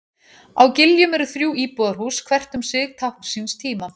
Á Giljum eru þrjú íbúðarhús, hvert um sig tákn síns tíma.